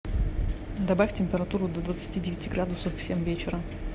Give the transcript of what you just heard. добавь температуру до двадцати девяти градусов в семь вечера